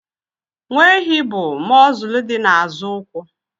Nwa ehi bụ mọzụlụ dị n'azụ ụkwụ.